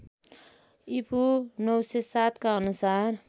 ईपू ९०७ का अनुसार